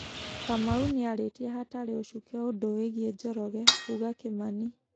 Kamau nĩ arĩtie hatarĩ ũcuke ũndũ wĩgĩe Njoroge, Kuga Kimani